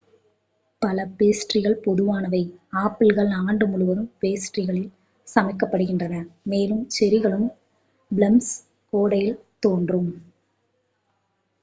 பழ பேஸ்ட்ரிகள் பொதுவானவை ஆப்பிள்கள் ஆண்டு முழுவதும் பேஸ்ட்ரிகளில் சமைக்கப்படுகின்றன மேலும் செர்ரிகளும் பிளம்ஸும் கோடையில் தோன்றும்